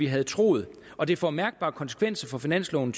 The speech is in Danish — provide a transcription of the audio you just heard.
havde troet og det får mærkbare konsekvenser for finansloven